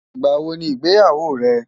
ìgbà wò ní ìgbéyàwó rè?